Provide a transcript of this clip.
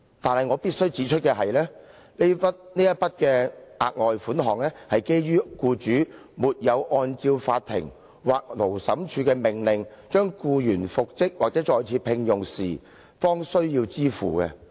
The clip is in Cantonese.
但是，我必須指出的是，這筆額外款項，是基於僱主沒有按照法庭或勞審處的命令將僱員復職或再聘用時，方需要支付。